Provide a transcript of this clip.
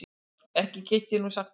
Ekki get ég nú sagt það.